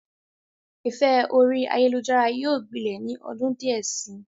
Ìfẹ́ orí ayélujára yóò gbilẹ̀ ni ọdún díẹ̀ si.